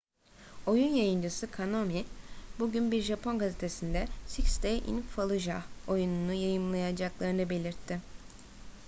oyun yayıncısı konami bugün bir japon gazetesinde six days in fallujah oyununu yayınlamayacaklarını belirtti